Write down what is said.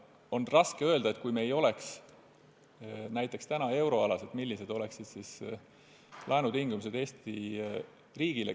On raske öelda, millised oleksid laenutingimused Eesti riigile, kui me ei oleks euroalas.